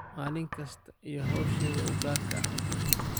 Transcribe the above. Malin kastaa iyo xoshed ukaar eh.